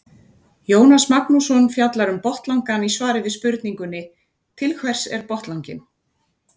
Jónas Magnússon fjallar um botnlangann í svari við spurningunni Til hvers er botnlanginn?